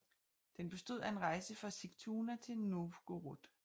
Den bestod af en rejse fra Sigtuna til Novgorod